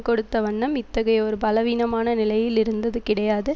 கொடுத்த வண்ணம் இத்தகைய ஒரு பலவீனமான நிலையில் இருந்தது கிடையாது